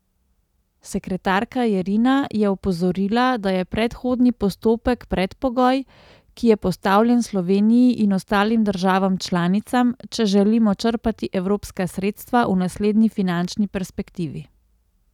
Sekretarka Jerina je opozorila, da je predhodni postopek predpogoj, ki je postavljen Sloveniji in ostalim državam članicam, če želimo črpati evropska sredstva v naslednji finančni perspektivi.